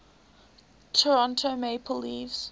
toronto maple leafs